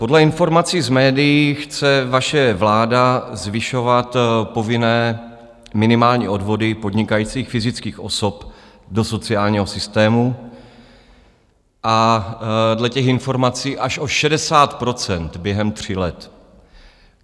Podle informací z médií chce vaše vláda zvyšovat povinné minimální odvody podnikajících fyzických osob do sociálního systému, dle těch informací až o 60 % během tří let.